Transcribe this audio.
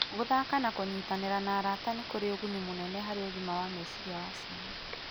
Gũthaka na kũnyitanĩra na arata nĩ kũrĩ ũguni mũnene harĩ ũgima wa meciria wa ciana.